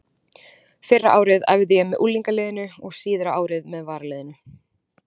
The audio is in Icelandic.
Fyrra árið æfði ég með unglingaliðinu og síðara árið með varaliðinu.